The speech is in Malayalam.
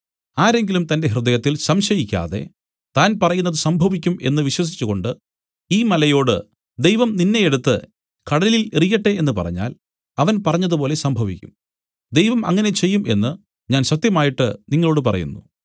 ആരെങ്കിലും തന്റെ ഹൃദയത്തിൽ സംശയിക്കാതെ താൻ പറയുന്നത് സംഭവിക്കും എന്നു വിശ്വസിച്ചുകൊണ്ട് ഈ മലയോട് ദൈവം നിന്നെയെടുത്ത് കടലിൽ എറിയട്ടെ എന്നു പറഞ്ഞാൽ അവൻ പറഞ്ഞതുപോലെ സംഭവിക്കും ദൈവം അങ്ങനെ തന്നെ ചെയ്യും എന്നു ഞാൻ സത്യമായിട്ട് നിങ്ങളോടു പറയുന്നു